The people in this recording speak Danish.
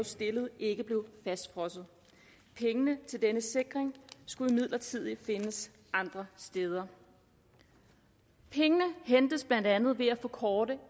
stillede ikke blev fastfrosset pengene til denne sikring skulle imidlertid findes andre steder og pengene hentes blandt andet ved at forkorte